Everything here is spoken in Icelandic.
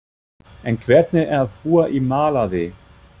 En hvernig er að búa í Malaví?